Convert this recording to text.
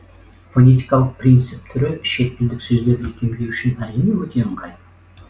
фонетикалық принцип түрі шеттілдік сөздерді икемдеу үшін әрине өте ыңғайлы